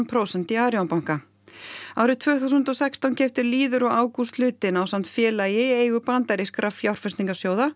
prósent í Arion árið tvö þúsund og sextán keyptu Lýður og Ágúst hlutinn ásamt félagi í eigu bandarískra